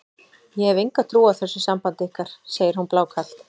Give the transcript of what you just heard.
Ég hef enga trú á þessu sambandi ykkar, segir hún blákalt.